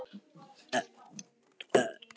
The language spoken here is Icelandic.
Láttu Kötu vera, pabbi minn á þetta tún!